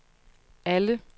alle